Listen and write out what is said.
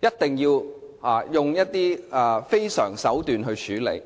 一定要用一些非常手段處理呢？